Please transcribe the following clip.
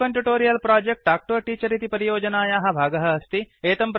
spoken tutorial project talk to a teacher इति परियोजनायाः भागः अस्ति